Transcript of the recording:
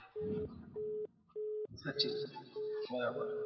સાચી વાત છે બરાબર